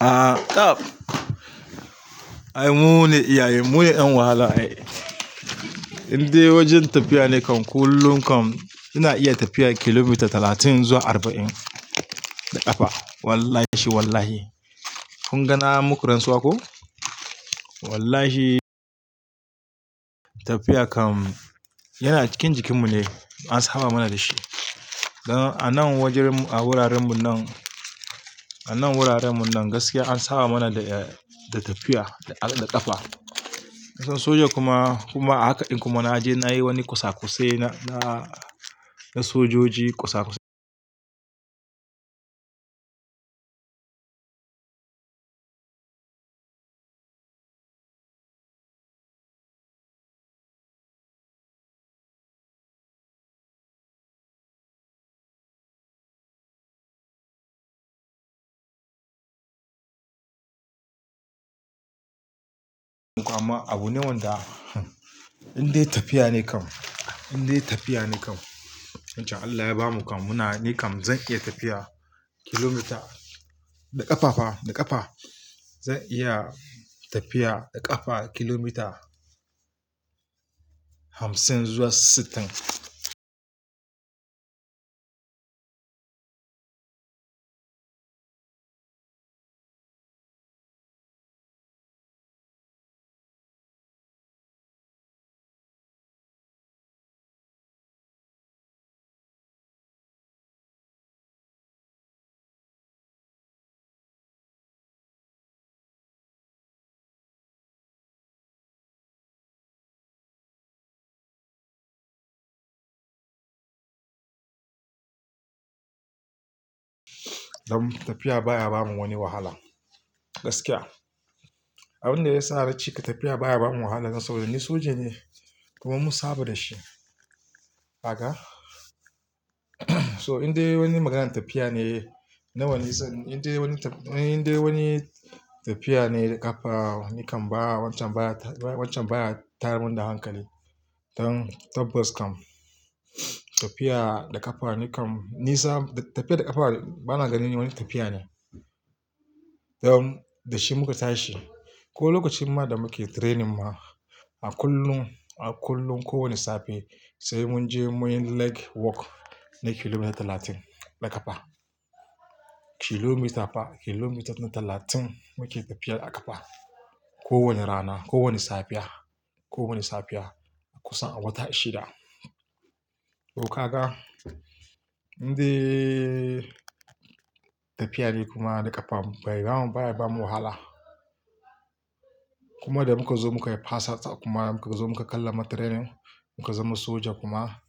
A'a tab, Ai mu ne iyayen, mu ne ƴan wahala ai. Indai wajen tafiya ne kam kullum kam ina iya tafiya kilomita talatin zuwa arba'in da ƙafa. Wallahi wallahi. Kun ga na muku rantsuwa ko? Wallahi tafiya kam yana cikin jikin mu ne, an saba mana da shi. Don a nan wajen a wuraren mu nan, a nan wuraren mu nan gaskiya an saba mana da, da tafiya da ƙafa. Na san soja kuma, kuma a haka ɗin kuma na je na yi wani kosa-kosai na, na sodoji kosa-kosai. Amma abu ne wanda indai tafiya ne kam, indai tafiya ne kam. Wancan Allah ya bamu kam muna ni kam zan iya tafiya kilomita da ƙafa fa, da ƙafa. Zan iya tafiya da ƙafa kilomita hamsin zuwa sittin. Don tafiya baya bamu wani wahala gaskiya. Abin da ya sa na cika tafiya baya bamu wahala saboda ni soja ne kuma mun saba da shi. Haka. So indai wani maganan tafiya ne, nawa ne indai wani tafiya ne da ƙafa, ni kam ba, wancan baya, wancan baya tayar mun da hankali. Don tabbas kam tafiya da ƙafa ni kam nisa tafiya da ƙafa bana ganin wani tafiya ne. Don da shi muka tashi. Ko lokacin ma da muke training ma a kullum, a kullum kowane safe sai mun je muyi leg work na kilomita talatin da ƙafa. Kilomita fa kilomita na talatin muke tafiyar da ƙafa. Ko wani rana, ko wani safiya, ko wani safiya kusan a wata shida. To kaga indai tafiya ne kuma da ƙafa bai bamu, baya bamu wahala. Kuma da muka zo muka yi pass out kuma muka zo muka kallama training muka zama soja kuma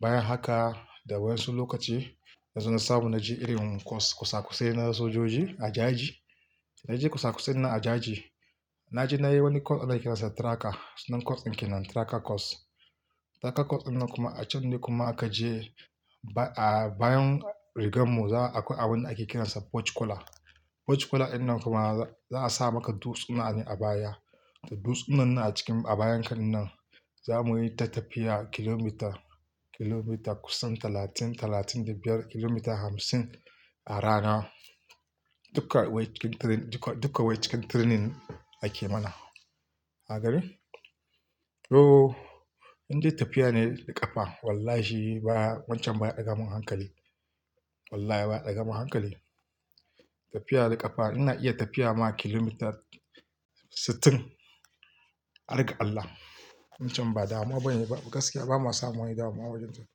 bayan haka da waƴansu lokaci, na zo na samu na je irin kosa-kosai na sojoji a jaji. Na je kosa-kosai nan a jaji. Na je na yi wani course ana kiransa tracker. Sunan course ɗin kenan tracker course. Tracker course ɗinnan kuma a can ne kuma aka je ba a bayan rigar mu za a yi abin da ake kiransa porch cola. Porch cola ɗinnan kuma za a sa maka dutsuna ne a baya. Da dutsunan nan a cikin a bayan ka ɗin nan za muyi ta tafiya kilomita, kilomita kusan talatin, talatin da biyar, kilomita hamsin a rana. Duka wai cikin training, duka wai cikin training ake mana. Ka gani? To indai tafiya ne da ƙafa wallahi ba wancan baya ɗaga mun hankali. Wallahi baya ɗaga mun hankali. Tafiya da ƙafa ina iya tafiya ma kilomita sittin, harga Allah. Wancan ba damuwa bane ba gaskiya ba ma samun wani damuwa a wajen tafiya.